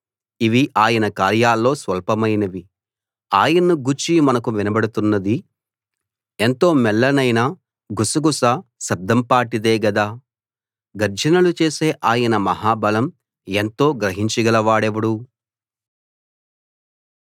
ఇవి ఆయన కార్యాల్లో స్వల్పమైనవి ఆయన్ను గూర్చి మనకు వినబడుతున్నది ఎంతో మెల్లనైన గుసగుస శబ్దం పాటిదే గదా గర్జనలు చేసే ఆయన మహాబలం ఎంతో గ్రహించగలవాడెవడు